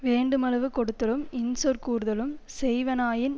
வேண்டுமளவு கொடுத்தலும் இன்சொற் கூறுதலும் செய்வனாயின்